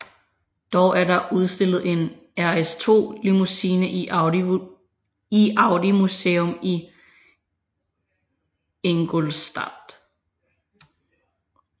Dog er der udstillet en RS2 Limousine i Audi Museum i Ingolstadt